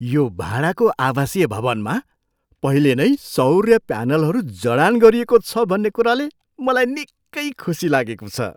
यो भाडाको आवासीय भवनमा पहिले नै सौर्य प्यानलहरू जडान गरिएको छ भन्ने कुराले मलाई निकै खुसी लागेको छ।